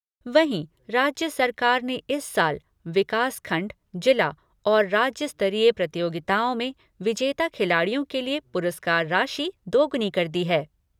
वहीं राज्य सरकार ने इस साल विकासखण्ड, जिला और राज्य स्तरीय प्रतियोगिताओं में विजेता खिलाड़ियों के लिए पुरस्कार राशि दोगुनी कर दी है।